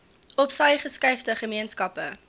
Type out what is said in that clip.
opsy geskuifde gemeenskappe